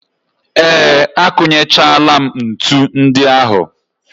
Ee, akụnyechaala m ntu ndị ahụ.